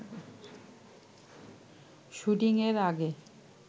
শুটিংয়ের আগে